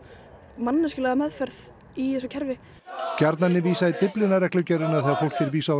manneskjulega meðferð í þessu kerfi gjarnan er vísað í Dyflinnarreglugerðina þegar fólki er vísað úr